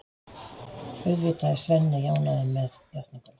Auðvitað er Svenni ánægður með játninguna.